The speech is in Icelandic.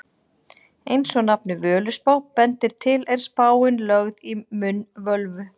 Eins og nafnið Völuspá bendir til er spáin lögð í munn völvu.